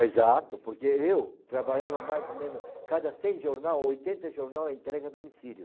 Exato, porque eu trabalhava mais ou menos, cada cem jornal, oitenta jornal era entrega a domicílio.